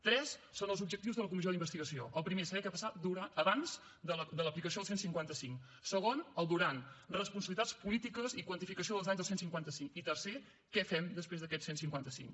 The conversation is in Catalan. tres són els objectius de la comissió d’investigació el primer saber què va passar abans de l’aplicació del cent i cinquanta cinc segon el durant responsabilitats polítiques i quantificació dels danys del cent i cinquanta cinc i tercer què fem després d’aquest cent i cinquanta cinc